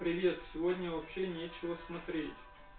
привет сегодня вообще ничего смотреть